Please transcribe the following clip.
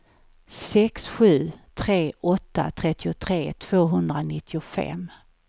sex sju tre åtta trettiotre tvåhundranittiofem